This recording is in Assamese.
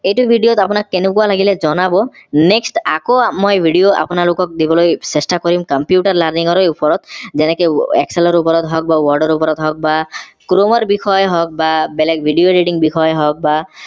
এইটো video ত আপোনাক কেনেকুৱা লাগিলে জনাব next আকৌ মই video আপোনালোকক দিবলৈ চেষ্টা কৰিম computer learning ৰেই ওপৰত যেনেকে excel ৰ ওপৰত হওক বা word ৰ ওপৰত হওক বা chrome ৰ বিষয়ে হওক বা বেলেগ video editing বিষয়ে হওঁক বা